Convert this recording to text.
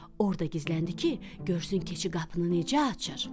Orda gizləndi ki, görsün keçi qapını necə açır.